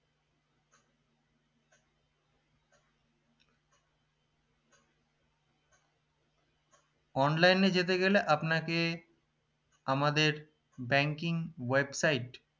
online এ যেতে গেলে আপনাকে আমাদের banking webside